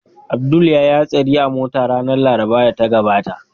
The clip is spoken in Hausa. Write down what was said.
Abdul ya yi hatsari a mota ranar Larabar da ta gabata